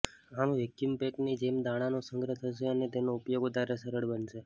આમ vacuum pack ની જેમ દાણા નો સંગ્રહ થશે અને તેનો ઉપયોગ વધારે સરળ બનશે